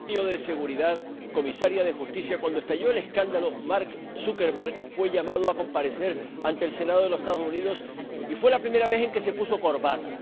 Señor presidente, señora comisaria de Justicia, cuando estalló el escándalo, Mark Zuckerberg fue llamado a comparecer ante el Senado de los Estados Unidos y fue la primera vez en que se puso corbata.